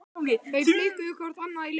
Þau blikkuðu hvort annað í laumi.